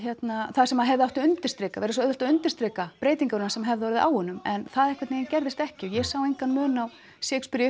það sem hefði átt að undirstrika verið svo auðvelt að undirstrika breytinguna sem hefði orðið á honum en það gerðist ekki og ég sá engan mun á Shakespeare í